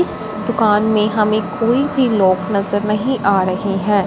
इस दुकान में हमें कोई भी लोग नजर नहीं आ रहें हैं।